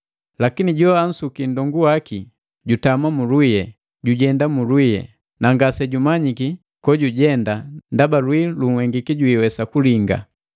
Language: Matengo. Lakini joansuki nndongu waki jutama mu lwii, jujenda mulwii, na ngasejumanyiki kojujenda ndaba lwii lunhengiki jwiiwesa kulinga.